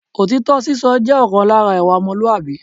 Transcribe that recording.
Òtítọ́ sísọ jẹ́ ọ̀kan lára ìwà ọmọlúwàbí